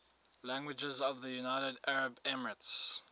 languages of the united arab emirates